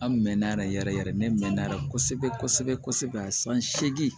An mɛnna yɛrɛ yɛrɛ yɛrɛ ne mɛnna yɛrɛ kosɛbɛ kosɛbɛ san segin